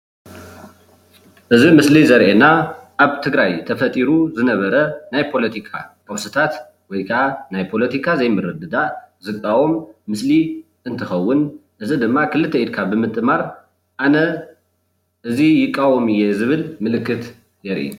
እዚ ኣብ ምስሊ ዘርእየና ኣብ ትግራይ ተፈጢሩ ዝነበረ ናይ ፖለቲካ ቀውስታት ወይ ከዓ ናይ ፖለቲካ ዘይምርድዳእ ዝቃወም ምስሊ እንትከውን እዚ ድማ ክልተ ኢድካ ብምጥማር ኣነ እዚ ይቃወም እየ ዝብል ምልክት የርኢ፡፡